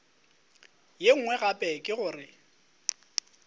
ye nngwe gape ke gore